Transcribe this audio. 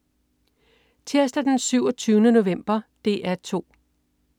Tirsdag den 27. november - DR 2: